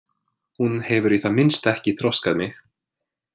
Hún hefur í það minnsta ekki þroskað mig.